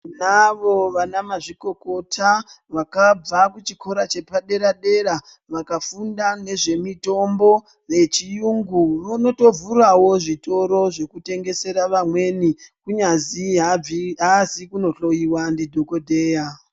Tinavo vana mazvikokota, vakabva muchikora chepadera-dera, vakafunda nezvemitombo yechiyungu Vonotovhurawo zvitoro zvekutengese mitombo yechiyungu zvekutengesera vamweni kunyazi aabvi aazi kunohloiwa ndidhokodheya.